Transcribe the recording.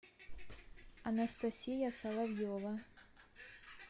анастасия соловьева